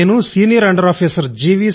నేను senior under officer G